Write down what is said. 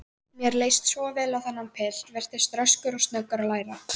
Mér leist svo vel á þennan pilt, virtist röskur og snöggur að læra.